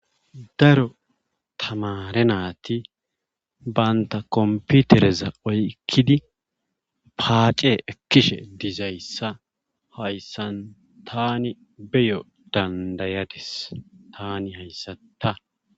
Daro tamare nati banta kompitreza oykkidi paace ekishe dizayssa hayssan tani hayssan beyo dandayadis tani hayssan ta.